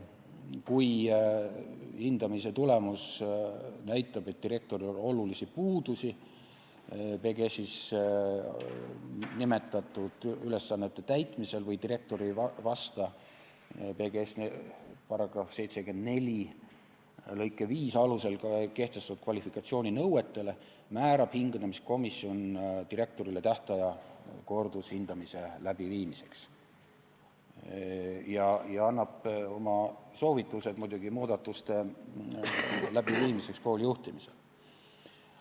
Kui hindamise tulemus näitab, et direktoril on olulisi puudusi PGS-is nimetatud ülesannete täitmisel või direktor ei vasta PGS-i § 74 lõike 5 alusel kehtestatud kvalifikatsiooninõuetele, määrab hindamiskomisjon direktorile tähtaja kordushindamise tegemiseks ja annab muidugi oma soovitused muudatuste läbiviimiseks kooli juhtimisel.